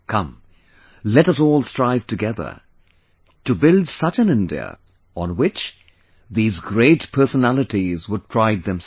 Come, let us all strive together to build such an India, on which these great personalities would pride themselves